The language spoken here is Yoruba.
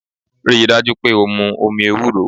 Rí i dájú pé o mu omi ewúro!